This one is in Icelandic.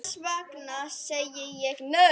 Þess vegna segi ég, nei!